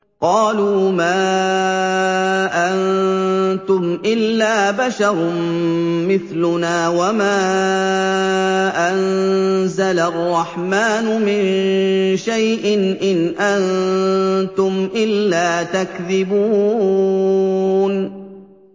قَالُوا مَا أَنتُمْ إِلَّا بَشَرٌ مِّثْلُنَا وَمَا أَنزَلَ الرَّحْمَٰنُ مِن شَيْءٍ إِنْ أَنتُمْ إِلَّا تَكْذِبُونَ